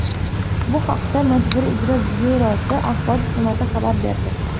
Bu haqda Majburiy ijro byurosi Axborot xizmati xabar berdi.